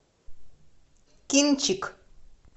кинчик